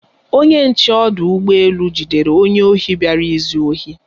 Onye nche ọdụ ụgbọ elu jidere onye ohi bịara izu ohi.